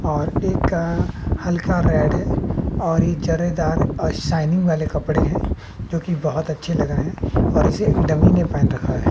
और एक हल्का रेड और एक जरीदार और शाइनिंग वाले कपड़े है जो कि बहोत अच्छे लग रहे हैं और इसे एक डमी ने पहन रखा है।